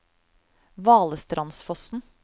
Valestrandsfossen